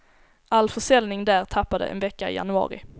All försäljning där tappade en vecka i januari.